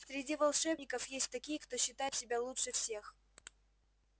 среди волшебников есть такие кто считает себя лучше всех